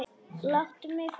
Láttu mig fá blaðið!